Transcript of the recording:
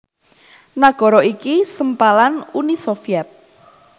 Nagara iki sempalan Uni Sovyet